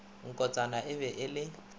nkotsana e be e le